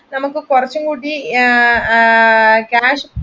നമ്മുക്ക് കുറച്ചുംകൂടി